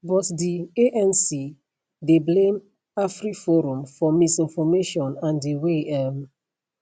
but di anc dey blame afriforum for misinformation and di way um